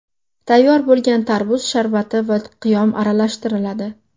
Tayyor bo‘lgan tarvuz sharbati va qiyom aralashtiriladi.